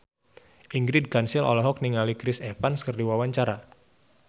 Ingrid Kansil olohok ningali Chris Evans keur diwawancara